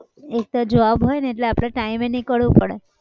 એક તો job હોય ને એટલે આપણે time એ નીકળવું પડે.